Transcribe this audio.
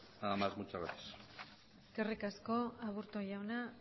nada más muchas gracias eskerrik asko aburto jauna